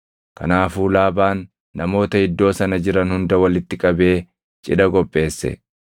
Kanaafuu Laabaan namoota iddoo sana jiran hunda walitti qabee cidha qopheesse.